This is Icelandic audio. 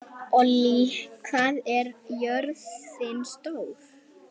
Frumvarpið mætti mikilli andstöðu sjálfstæðismanna